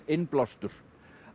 innblástur